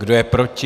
Kdo je proti?